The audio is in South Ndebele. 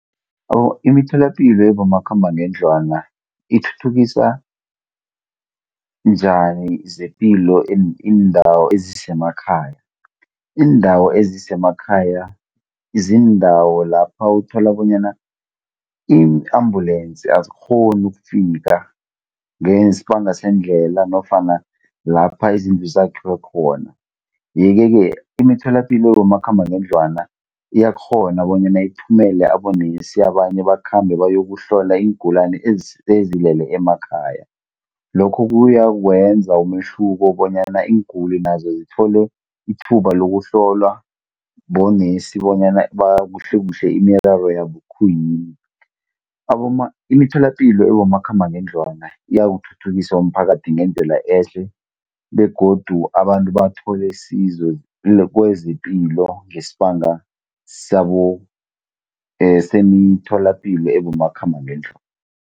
Imitholapilo ebomakhamba ngendlwana ithuthukisa njani zepilo iindawo ezisemakhaya, iindawo ezisemakhaya ziindawo lapho uthola bonyana iin-ambulensi azikghoni ukufika, ngesibanga seendlela nofana lapha izindlu zakhiwe khona. Iye-ke ke imitholapilo ebomakhamba-ngendlwana iyakghona bonyana ithumele abonesi abanye bakhambe bayokuhlola iingulani ezilele emakhaya. Lokho kuyawenza umehluko bonyana iinguli nazo zithole ithuba lokuhlolwa bonesi bonyana kuhle-kuhle imiraro yabo khuyini. Imitholapilo ebomakhamba-ngendlwana iyawuthuthukisa umphakathi ngendlela ehle, begodu abantu bathole isizo kwezepilo ngesibanga semitholapilo ebomakhamba ngendlwana.